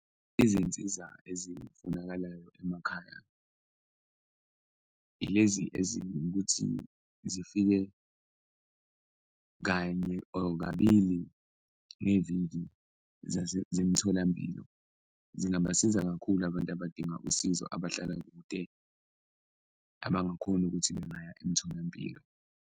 Izinsiza ezifunakalayo emakhaya Ilezi eziwukuthi zifike kanye or kabili ngeviki zemtholampilo, zingabasiza kakhulu abantu abadinga usizo abahlala kude, abangakhoni ukuthi bengaya emtholampilo.